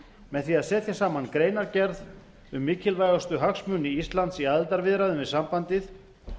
með því að setja saman greinargerð um mikilvægustu hagsmuni íslands í aðildarviðræðum við sambandið